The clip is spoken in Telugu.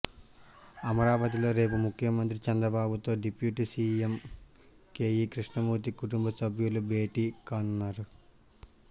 అమరావతిలో రేపు ముఖ్యమంత్రి చంద్రబాబుతో డిప్యూటీ సీఎం కేఈ కృష్ణమూర్తి కుటుంబసభ్యులు భేటీ కానున్నారు